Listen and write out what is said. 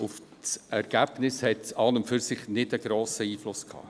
Auf das Ergebnis hat dies an und für sich keinen grossen Einfluss gehabt.